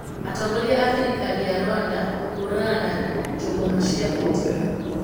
Atongoria a thirikari ya Rwanda kũhũrana na njũgũma cia thitima